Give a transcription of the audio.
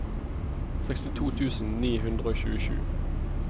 sekstito tusen ni hundre og tjuesju